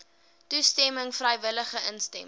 toestemming vrywillige instemming